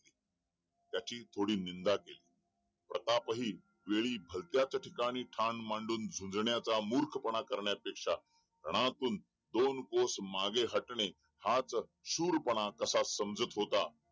त्याची थोडी निंदा केली प्रताप हि वेळी ठाम मांडून झुंजण्याचा मूर्ख पणा करण्यापेक्षा दोन कोस मागे हाटणे हाच शूर पणा असा समजत होता